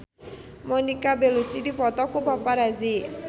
Monica Belluci dipoto ku paparazi